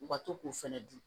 U ka to k'u fɛnɛ dun